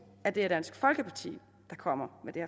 at det er dansk folkeparti der kommer med det